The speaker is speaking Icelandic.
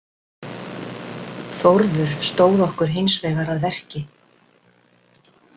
Þórður stóð okkur hins vegar að verki.